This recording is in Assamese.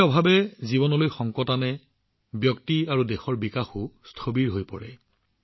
পানী অবিহনে জীৱনলৈ সদায় সংকট আহে ব্যক্তি আৰু দেশৰ বিকাশো স্থবিৰ হৈ পৰে